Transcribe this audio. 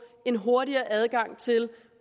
en hurtigere adgang til